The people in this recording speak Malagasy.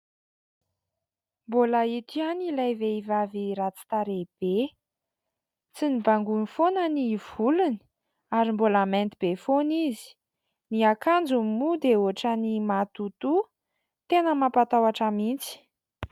Mbola ito ihany ilay vehivavy ratsy tarehy be, tsy nobangoiny foana ny volony ary mbola mainty be foana izy, ny akanjony moa dia ohatran'ny matotoa, tena mampatahotra mihitsy !